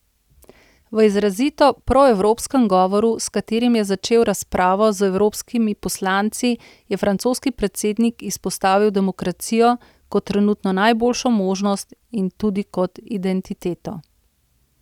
V izrazito proevropskem govoru, s katerim je začel razpravo z evropskimi poslanci, je francoski predsednik izpostavil demokracijo kot trenutno najboljšo možnost in tudi kot identiteto.